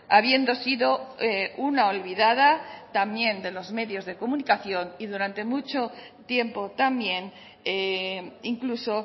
habiendo sido una olvidada también de los medios de comunicación y durante mucho tiempo también incluso